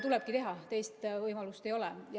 Tulebki teha, teist võimalust ei ole.